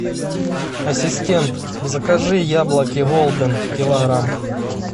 ассистент закажи яблоки голден килограмм